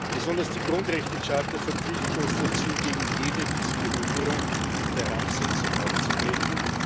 Besonders die Grundrechtecharta verpflichtet uns dazu, gegen jede Diskriminierung und Herabsetzung aufzutreten.